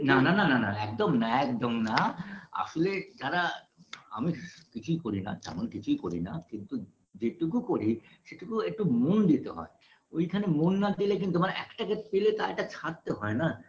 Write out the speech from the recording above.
না না না না না একদম না একদম না আসলে যারা আমি কিছুই করি না তেমন কিছুই করি না কিন্তু যেটুকু করি, সেইটুকু একটু মন দিতে হয় ওইখানে মন না দিলে কিন্তু মানে একটা কে পেলে তা একটা ছাড়তে হয় না